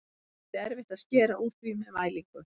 Það yrði erfitt að skera úr því með mælingu.